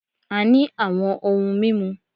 A ní àwọn ohun mímu